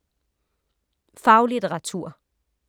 Faglitteratur